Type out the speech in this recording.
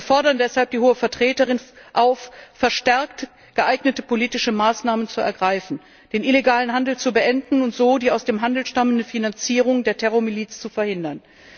Wir fordern deshalb die Hohe Vertreterin auf, verstärkt geeignete politische Maßnahmen zu ergreifen, den illegalen Handel zu beenden und so die aus dem Handel stammende Finanzierung der Terrormiliz zu verhindern.